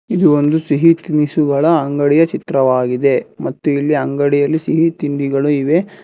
ಇದು ಒಂದು ಸಿಹಿ ತಿನಿಸುಗಳ ಅಂಗಡಿಯ ಚಿತ್ರವಾಗಿದೆ ಮತ್ತು ಇಲ್ಲಿ ಅಂಗಡಿಯಲ್ಲಿ ಸಿಹಿ ತಿಂಡಿಗಳು ಇವೆ.